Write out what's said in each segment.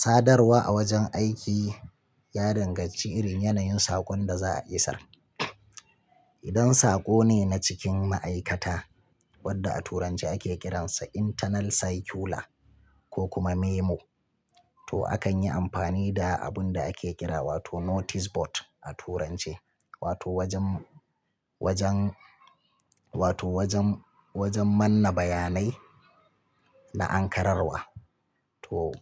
Sadarwa a wajen aiki ya danganci irin yanayin saƙon da za a isar. Idan saƙo ne na cikin ma'aikata, wadda a turanci ake ƙiransa internal circular ko kuma memo, to akan yi amfani da abun da ake ƙira wato notice board a turance, wato wajen, wajen, wato wajen, wajen manna bayanai na ankararwa. To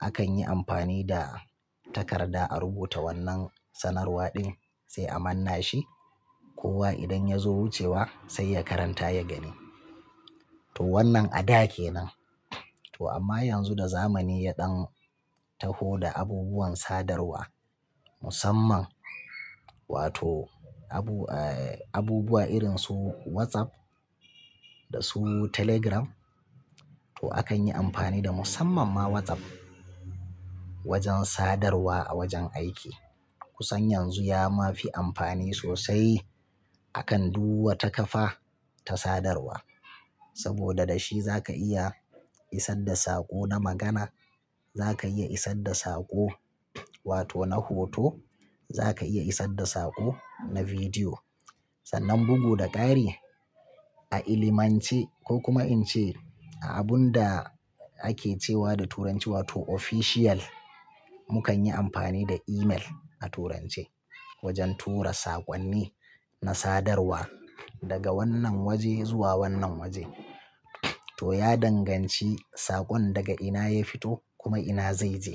akan yi amfani da takarda a rubuta wannan sanarwa din sai a manna shi, kowa idan ya zo wucewa sai ya karan ta ya gani. To wannan a da kenan. To amma yanzu da zamani ya ɗan taho da abubuwan sadarwa musamman wato abubuwa irin su WhatsApp da su Telegram, to akan yi amfani da musamman ma WhatsApp wajen sadarwa a wajen aiki. Kusan yanzu ya ma fi amfani sosai akan duk wata kafa ta sadarwa. Saboda da shi za ka iya isar da saƙo na magana, za ka iya isar da saƙzo wato na hoto, za ka iya isar da saƙo na bidiyo. Sannan bugu da ƙari a ilimance ko kuma in ce a abun da ake cewa da turanci wato official, mu kan yi amfani da email a turance wajen tura saƙonni na sadarwa daga wannan waje zuwa wannan waje. To ya danganci sakon daga ina ya fito kuma ina zai je.